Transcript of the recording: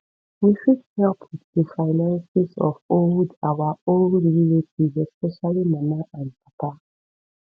we fit help with di finances of old our old relatives especially mama and papa